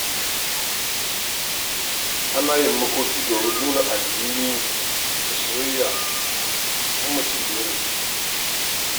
Ana yin makoki domin nuna alhini da soyayya ga wanda ya rasu.